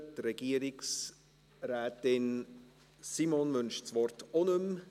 Die Regierungsrätin Simon wünscht das Wort auch nicht mehr.